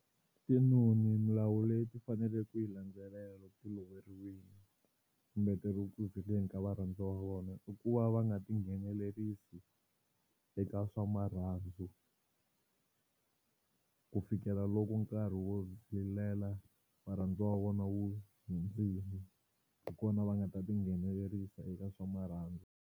Tinoni milawu leyi ti faneleke ku yi landzelela loko ti loveriwile kumbe ti ri ku zileni ka varhandziwa va vona i ku va va nga tinghenelerisi eka swa marhandzu ku fikela loko nkarhi wo rilela varhandziwa wa vona wu hundzile hi kona va nga ta tinghenelerisa eka swa marhandzu.